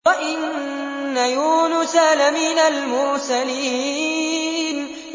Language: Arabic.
وَإِنَّ يُونُسَ لَمِنَ الْمُرْسَلِينَ